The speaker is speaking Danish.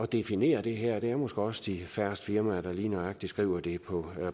definere det her det er måske også de færreste firmaer der lige nøjagtig skriver det på